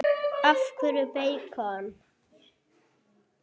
Af hverju beikon?